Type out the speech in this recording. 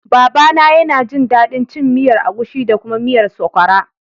Baba na ya na jin daɗin cin miyar agushi da kuma miyar sokwara